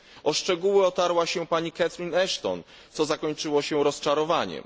O szczegóły otarła się pani Catherine Ashton, co zakończyło się rozczarowaniem.